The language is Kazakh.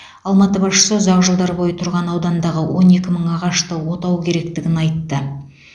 алматы басшысы ұзақ жылдар бойы тұрған аудандағы он екі мың ағашты отау керектігін айтты